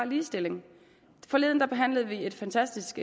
ligestilling forleden behandlede vi et fantastisk